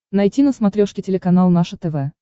найти на смотрешке телеканал наше тв